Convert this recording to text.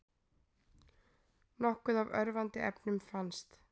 Nokkuð af örvandi efnum fannst